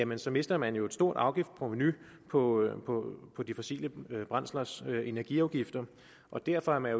mister mister man jo et stort afgiftsprovenu på på de fossile brændslers energiafgifter og derfor er man